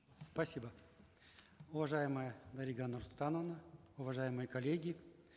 спасибо уважаемая дарига нурсултановна уважаемые коллеги